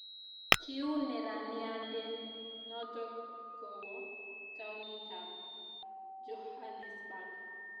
kiuu neraniande noto kowo townitab Johannesburg